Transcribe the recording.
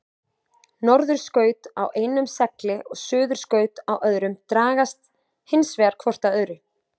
Norðurskaut á einum segli og suðurskaut á öðrum dragast hins vegar hvort að öðru.